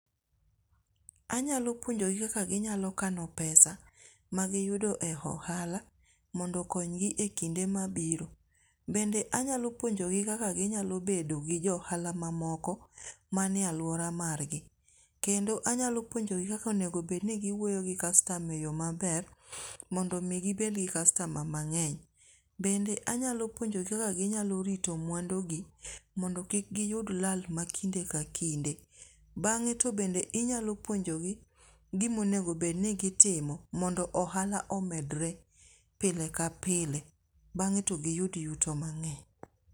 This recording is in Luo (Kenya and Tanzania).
Anyalo puonjogi kaka ginyalo kano pesa magiyudo e ohala mondo okonygi e kinde mabiro, bende anyalo puonjogi kaka ginyalo bendo ji jo ohala mamoko manie aluora margi, kendo anyalo puonjogi kaka onego bedni giwuoyo gi customer e yo maber mondo mi gibet gi customer mang'eny, bende anyalo puonjogi kaka ginyalo rito mwandugi mondo kik giyud lal ma kinde ka kinde, bang'e to bende inya puonjogi gima onego bed ni gitimo mondo ohala omedre pile ka pile bang'e to giyud yuto mang'eny.